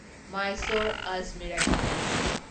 Mysore Ajmer express